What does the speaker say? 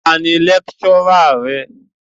Ta ni lecturer rẹ?